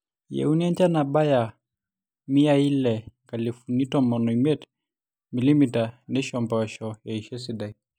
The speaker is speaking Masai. eyieuni enjan nabaya imiyai ile-inkalifuni tomon omiet mm neisho impoosho eisho esidai